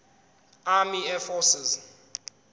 army air forces